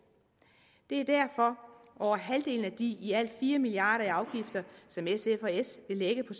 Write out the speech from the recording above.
det er derfor at over halvdelen af de i alt fire milliard kroner i afgifter som sf og s vil lægge på